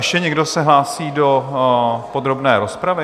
Ještě někdo se hlásí do podrobné rozpravy?